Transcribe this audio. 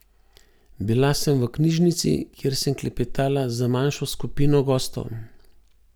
Bila sem v knjižnici, kjer sem klepetala z manjšo skupino gostov.